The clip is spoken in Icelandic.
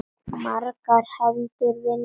Margar hendur vinna létt verk.